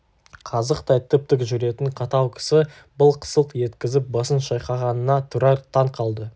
қазықтай тіп-тік жүретін қатал кісі былқ-сылқ еткізіп басын шайқағанына тұрар таң қалды